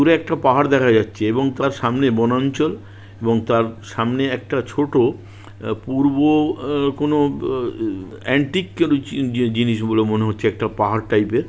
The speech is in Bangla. দূরে একটা পাহাড় দেখা যাচ্ছে এবং তার সামনে বনাঞ্চল এবং তার সামনে একটা ছোট পূর্ব আ কোনো অব অ অ্যান্টিক জি-জি-জিনিস বলে মনে হচ্ছে একটা পাহাড় টাইপ -এর।